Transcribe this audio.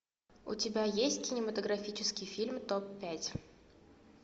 у тебя есть кинематографический фильм топ пять